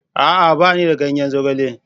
A'a! Ba ni da ganyen zogale.